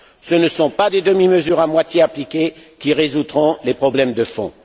Ce ne sont pas des demi mesures à moitié appliquées qui résoudront les problèmes de fond.